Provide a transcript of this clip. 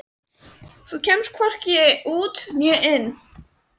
Þú kemst hvorki út né inn.